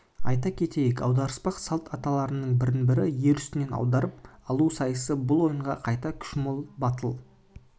айта кетейік аударыспақ салт аттылардың бірін-бірі ер үстінен аударып алу сайысы бұл ойынға қайрат-күші мол батыл